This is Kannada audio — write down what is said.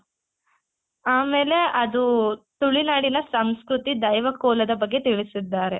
ಆಮೇಲೆ ಅದು ತುಳಿನಾಡಿನ ಸಂಸ್ಕೃತಿ ದೈವ ಕೋಲದ ಬಗ್ಗೆ ತಿಳಿಸಿದ್ದಾರೆ.